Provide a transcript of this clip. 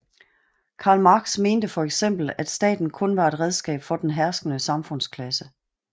Karl Marx mente for eksempel at staten kun var et redskab for den herskende samfundsklasse